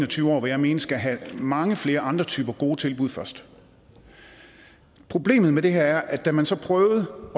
og tyve år vil jeg mene skal have mange flere andre typer gode tilbud først problemet med det her er at da man så prøvede